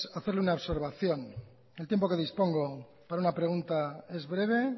hacerle una observación el tiempo que dispongo para una pregunta es breve